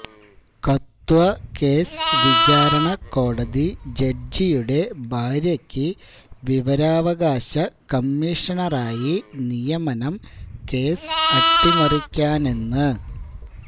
Kathua case വിചാരണക്കോടതി ജഡ്ജിയുടെ ഭാര്യക്ക് വിവരാവകാശ കമ്മീഷണറായി നിയമനം കേസ് അട്ടിമറിക്കാനെന്ന്